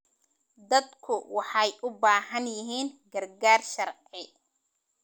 Dadku waxay u baahan yihiin gargaar sharci.